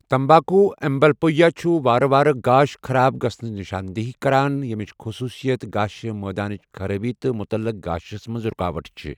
تمباکو ایمبلیوپیا چُھ وارٕ وارٕ گاش خراب گژھنٕچ نشاندٕہی کران، یمِچ خصوٗصیت گاشہِ مٲدانٕچ خرٲبی تہٕ مطلق گاشس منٛز رُکاوٹ چھِ۔